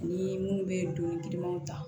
Ni mun bɛ donni girimanw ta